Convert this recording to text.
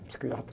Um psiquiatra.